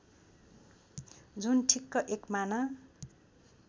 जुन ठिक्क एकमाना